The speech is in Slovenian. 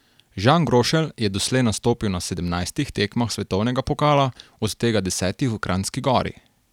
Žan Grošelj je doslej nastopil na sedemnajstih tekmah svetovnega pokala, od tega desetih v Kranjski Gori.